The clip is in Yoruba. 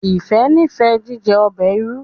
Ifẹ n'ifẹ jíjẹ ọbẹ ìrù